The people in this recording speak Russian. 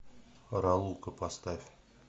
ралука поставь